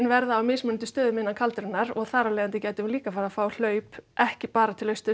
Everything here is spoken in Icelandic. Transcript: verða á mismunandi stöðum innan og þar af leiðandi gætum við líka farið að fá hlaup ekki bara til austurs